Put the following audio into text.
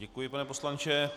Děkuji, pane poslanče.